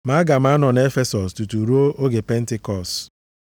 Ma aga m anọ nʼEfesọs tutu ruo oge Pentikọọsụ,